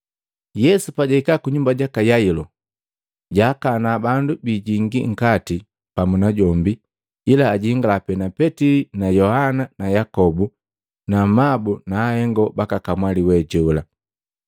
Yesu pajahika kunyumba jaka Yailo, jaakana bandu biijingi nkati pamu najombi ila ajingala pe Petili na Yohana na Yakobu na amabu na ahengo baka kamwali we jola.